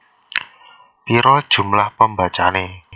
Pira jumlah pembacane